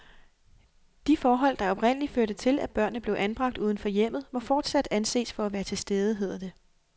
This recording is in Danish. De forhold, der oprindelig førte til, at børnene blev anbragt uden for hjemmet, må fortsat anses for at være til stede, hedder det.